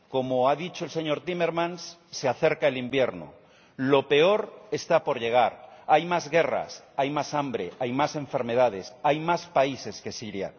Como ha dicho el señor Timmermans, se acerca el invierno, lo peor está por llegar, hay más guerras, hay más hambre, hay más enfermedades, hay más países que Siria.